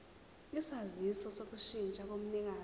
isaziso sokushintsha komnikazi